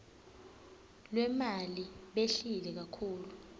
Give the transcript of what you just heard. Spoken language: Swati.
lwemali behlile kakhulu